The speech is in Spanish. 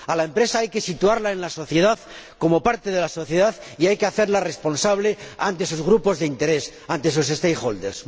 A la empresa hay que situarla en la sociedad, como parte de la sociedad, y hay que hacerla responsable ante esos grupos de interés, ante esos stakeholders